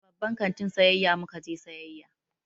A babban kantin sayayya mu ka je sayayya.